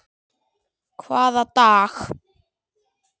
Hvaða dag?